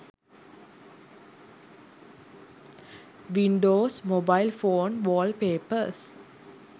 windows mobile phone wallpapers